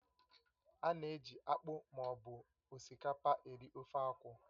Ána eji akpụ ma ọ bụ osikapa eri ofe akwụ